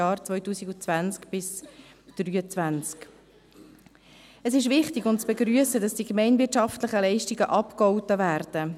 Es ist wichtig und zu begrüssen, dass die gemeinwirtschaftlichen Leistungen abgegolten werden.